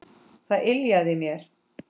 Það yljaði mér.